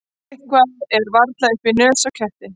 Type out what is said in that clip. Eitthvað er varla upp í nös á ketti